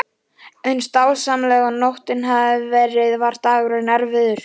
Eins dásamleg og nóttin hafði verið var dagurinn erfiður.